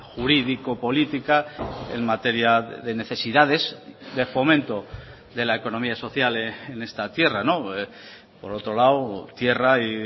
jurídico política en materia de necesidades de fomento de la economía social en esta tierra por otro lado tierra y